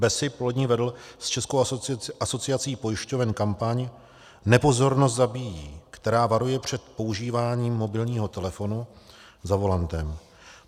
BESIP loni vedl s Českou asociací pojišťoven kampaň Nepozornost zabíjí, která varuje před používáním mobilního telefonu za volantem.